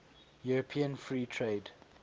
european free trade